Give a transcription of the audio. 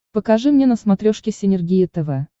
покажи мне на смотрешке синергия тв